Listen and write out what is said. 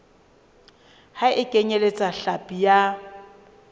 ha e kenyeletse hlapi ya